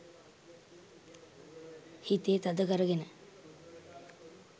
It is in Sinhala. හිතේ තද කරගෙන